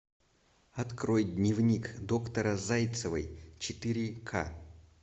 открой дневник доктора зайцевой четыре ка